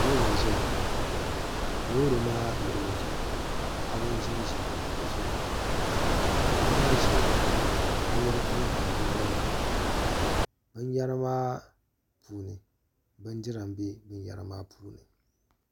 Loori n ʒɛya loori maa luɣuli zuɣu paɣaba n ʒinʒi kuɣusi zuɣu paɣaba maa ʒimi ka binyɛra tamtam bi naba zuɣu binyɛra maa puuni bindira n bɛ binyɛra maa puuni